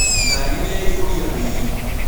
Ngarĩ nĩyaĩhũria athii.